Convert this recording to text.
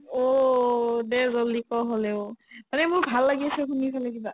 অ', দে jaldi ক' হ'লেও মানে মোৰ ভাল লাগি আছে শুনি ফালে কিবা